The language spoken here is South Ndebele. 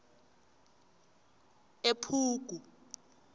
ephugu